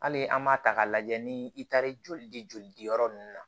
Hali an m'a ta k'a lajɛ ni i taara joli di joli diyɔrɔ nunnu na